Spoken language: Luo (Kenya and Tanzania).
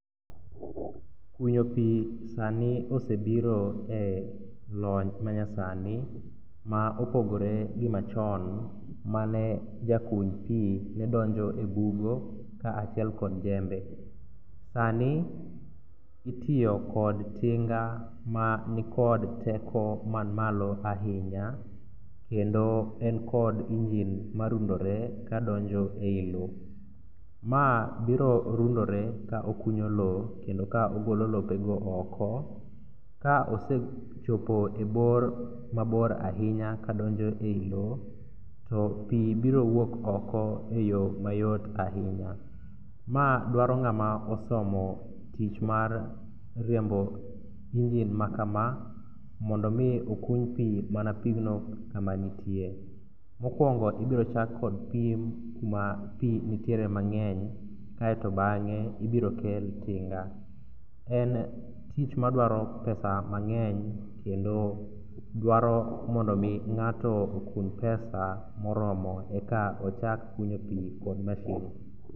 Kunyo pi sani osebiro e lony manyasani ma opogore gi machon mane jakuny pi nedonjo e bugo kaachiel kod jembe. Sani itiyo kod tinga manikod teko manmalo ahinya kendo enkod engine marundore kadonjo e i lo. Ma biro rundore ka okunyo lo kendo ka ogolo lopego oko ka osechopo e bor mabor ahinya kadonjo ei lo to pi biro wuok oko e yo mayot ahinya. Ma dwaro ng'ama osomo tich mar riembo engine makama mondo omi okuny pi mana pigno kamantie. Mokwongo ibiro chak kod pim kuma pi ntiere mang'eny kaeto bang'e ibiro kel tinga. En tich madwaro pesa mang'eny kendo dwaro mondo omi ng'ato okun pesa moromo eka ochak kunyo pi kod mashin.